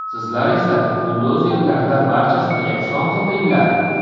Sizlar esa buldozerlarda barchasini yakson qildinglar.